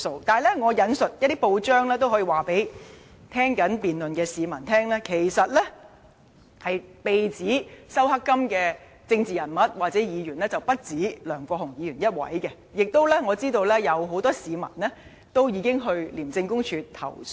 不過，根據一些報章的報道，我也可以告訴正在收看辯論的市民，被指收受"黑金"的政治人物或議員其實不止梁國雄議員一人，而我亦知道已有很多市民前往廉署投訴。